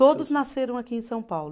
Todos nasceram aqui em São Paulo.